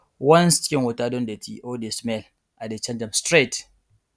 once chicken water don dirty or dey smell i dey change am straight